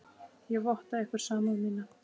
Ég votta ykkur samúð mína.